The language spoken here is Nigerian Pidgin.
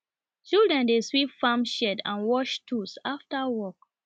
children dey sweep farm shed and wash tools after work